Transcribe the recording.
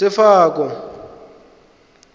sefako